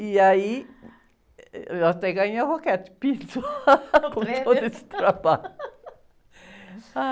E aí, eu até ganhei a...) prêmio? om todo esse trabalho.